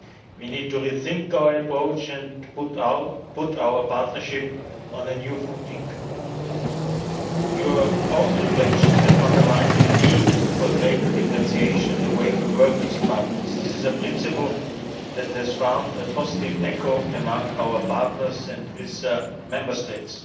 We need to rethink our approach and put our partnership on a new footing. Your own reflections have underlined the need for greater differentiation in the way we work with partners. This is a principle that has found a positive echo among our partners and with Member States.